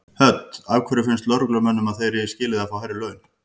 Hödd: Af hverju finnst lögreglumönnum að þeir eigi skilið að fá hærri laun?